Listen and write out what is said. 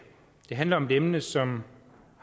handler om et emne som